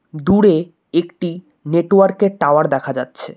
দূরে একটি নেটওয়ার্ক -এর টাওয়ার দেখা যাচ্ছে।